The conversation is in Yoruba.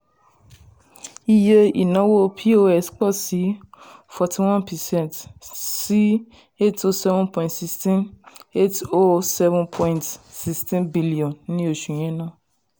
iye ìnáwó pos pọ̀ sí forty one percent sí n eight hundred seven point one six n eight hundred seven point one six billion ní oṣù yẹn náà.